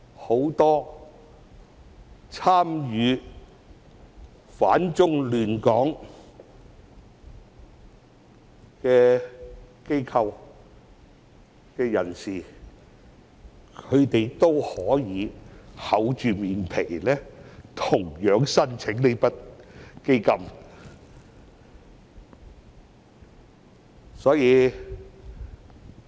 很多參與反中亂港的機構和人士都可以厚着臉皮申請這筆基金。